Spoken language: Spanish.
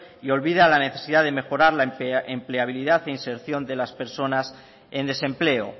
y olvida la necesidad de mejorar la empleabilidad e inserción de las personas en desempleo